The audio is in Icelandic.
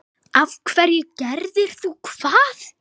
af hverju gerðir þú það?